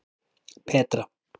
Petra